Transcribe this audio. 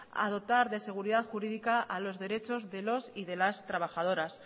a dotar de seguridad jurídica a los derechos de los y las trabajadoras